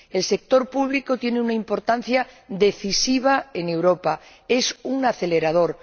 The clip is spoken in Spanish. El sector público tiene una importancia decisiva en Europa, es un acelerador.